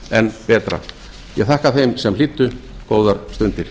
enn betra ég þakka þeim sem hlýddu góðar stundir